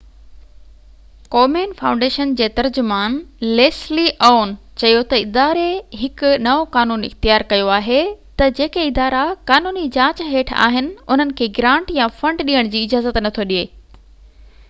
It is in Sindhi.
ڪومين فائونڊيشن جي ترجمان ليسلي عون چيو تہ اداري هڪ نئو قانون اختيار ڪيو آهي تہ جيڪي ادارا قانوني جاچ هيٺ آهن انهن کي گرانٽ يا فنڊ ڏيڻ جي اجازت نٿو ڏي